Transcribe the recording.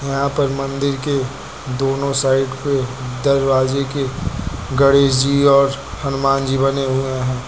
यहां पर मंदिर के दोनों साइड पे दरवाजे के गणेश जी और हनुमान जी बने हुए हैं।